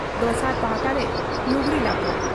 ᱫᱚᱥᱟᱨ ᱯᱟᱦᱴᱟᱨᱮ ᱞᱩᱜᱽᱲᱤ ᱞᱟᱯᱚ ᱾